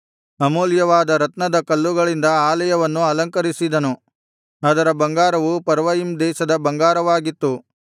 ಅಮೂಲ್ಯವಾದ ರತ್ನದ ಕಲ್ಲುಗಳಿಂದ ಅಲಯವನ್ನು ಅಲಂಕರಿಸಿದನು ಆದರ ಬಂಗಾರವು ಪರ್ವಯಿಮ್ ದೇಶದ ಬಂಗಾರವಾಗಿತ್ತು